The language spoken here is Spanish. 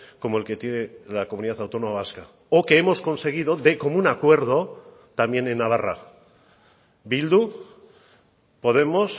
como el que tiene la comunidad autónoma vasca o que hemos conseguido de común acuerdo también en navarra bildu podemos